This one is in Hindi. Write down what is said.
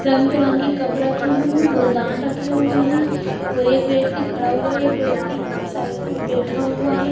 रंग बिरंगी कप रखे हुए हैं गुलदान रखे हुए हैं और एक व्यक्ति खड़ा हुआ है एक व्यक्ति साइड बैठा हुआ है।